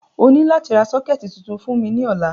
O ni lati ra soketi tuntun fun mi ni ọla.